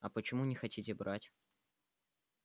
а почему не хотите брать